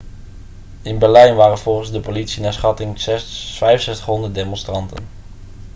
in berlijn waren volgens de politie naar schatting 6500 demonstranten